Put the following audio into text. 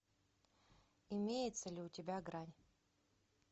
имеется ли у тебя грань